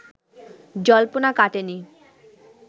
জল্পনা কাটেনি